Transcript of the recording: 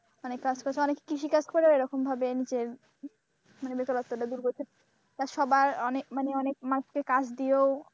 অনেকে আছে অনেক কৃষিকাজ করেও এরকম ভাবে নিজের মানে বেকারত্বটা দূর করছে। তা সবার অনেক মানে অনেক মানুষকে কাজ দিয়েও